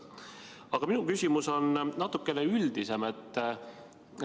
Aga minu küsimus on natuke üldisem.